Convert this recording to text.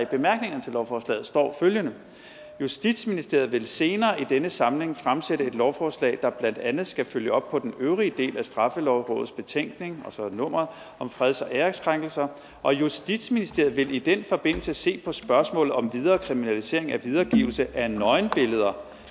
bemærkninger til lovforslaget står følgende justitsministeriet vil senere i denne samling fremsætte et lovforslag der blandt andet skal følge op på den øvrige del af straffelovrådets betænkning og så nummeret om freds og æreskrænkelser og justitsministeriet vil i den forbindelse se på spørgsmålet om videre kriminalisering af videregivelse af nøgenbilleder